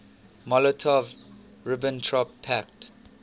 molotov ribbentrop pact